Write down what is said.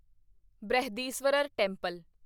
Brihadeeswarar temple